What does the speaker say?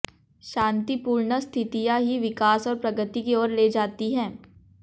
शान्तिपूर्ण स्थितियां ही विकास और प्रगति की ओर ले जाती हैं